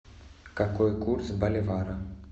какой курс боливара